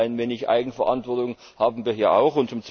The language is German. Also ein klein wenig Eigenverantwortung haben wir hier auch.